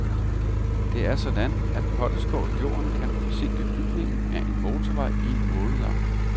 Det er sådan, at potteskår i jorden kan forsinke bygningen af en motorvej i måneder.